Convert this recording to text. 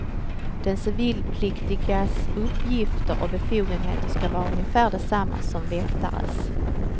De civilpliktigas uppgifter och befogenheter ska vara ungefär desamma som väktares.